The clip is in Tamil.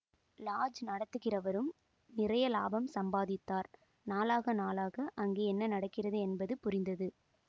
லாட்ஜ் நடத்துகிறவரும் நிறைய லாபம் சம்பாதித்தார் நாளாக நாளாக அங்கே என்ன நடக்கிறது என்பது புரிந்தது